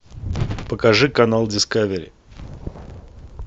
покажи канал дискавери